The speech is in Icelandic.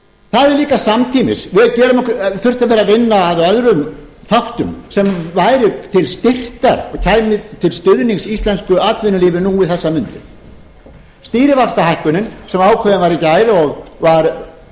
það hefði líka samtímis þurft að vera að vinna að öðrum þáttum sem væri til styrktar og kæmi til stuðnings íslensku atvinnulífi nú um þessar mundir stýrivaxtahækkunin sem ákveðin var í gær og var